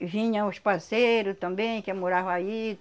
E vinham os parceiro também que moravam aí.